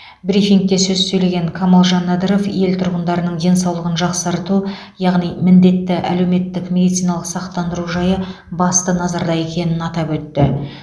брифингте сөз сөйлеген камалжан надыров ел тұрғындарының денсаулығын жақсарту яғни міндетті әлеуметтік медициналық сақтандыру жайы басты назарда екенін атап өтті